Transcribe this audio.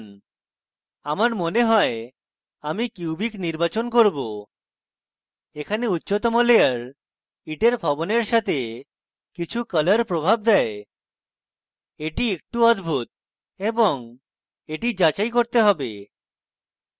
আমার মনে হয় আমি cubic নির্বাচন করব এখানে উচ্চতম লেয়ার ইটের ভবনের সাথে কিছু কলার প্রভাব দেয় এটি একটু অদ্ভুত এবং এটি যাচাই করতে হবে